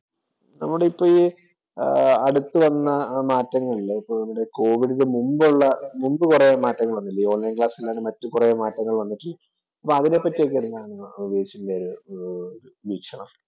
നമ്മുടെ ഇപ്പം അടുത്ത് വന്ന് മാറ്റങ്ങൾ ഇല്ലേ. കോവിഡിന് മുമ്പുള്ള മുമ്പ് കൊറേ മാറ്റങ്ങള്‍ വന്നില്ലയോ. ഓണ്‍ലൈന്‍ ക്ലാസ്സ്‌ അല്ലാതെ മറ്റു കുറേ മാറ്റങ്ങള്‍ വന്നു. അതിനെ പറ്റിയൊക്കെ എന്താണ് ഉവൈസിന്‍റെ ഒരു വീക്ഷണം.